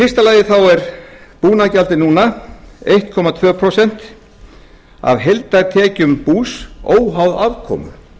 fyrsta lagi er búnaðargjaldið núna einn komma tvö prósent af heildartekjum bús óháð afkomu